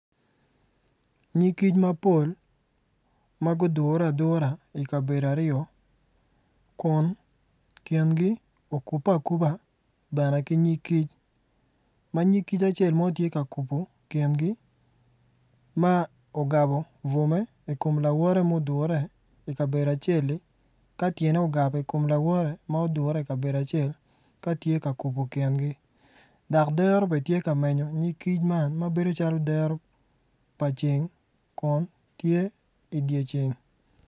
Nyig kic mapol ma gudure adura ikabedo aryo kun kingi okupe akuba bene ki nyig kic ma nyig kic acel mo tye ka kubo kingi ma ogabo bwome ikom lawote ma odure ikabedo acel-li ka tyene ogebe ikom lawote ma odure ikabedo acel katye ka kubo kingi dok dero bene tye ka menyo nyig kic man mabedo calo dero pa ceng kun tye idye ceng